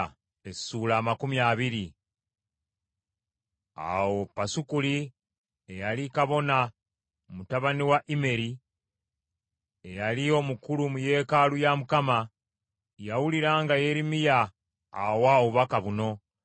Awo Pasukuli eyali kabona mutabani wa Immeri, eyali omukulu mu yeekaalu ya Mukama , yawulira nga Yeremiya awa obubaka buno,